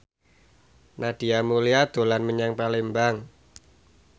Nadia Mulya dolan menyang Palembang